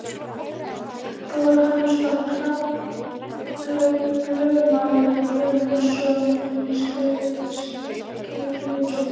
Bróðir hans var Hrafn lögmaður Guðmundsson í Skriðu.